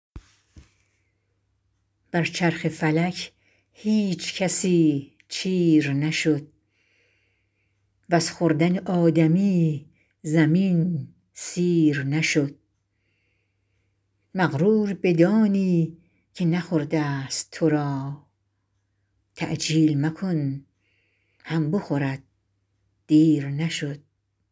بر چرخ فلک هیچ کسی چیر نشد وز خوردن آدمی زمین سیر نشد مغرور بدانی که نخورده ست تو را تعجیل مکن هم بخورد دیر نشد